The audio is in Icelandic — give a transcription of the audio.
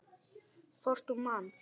Hvort hún man!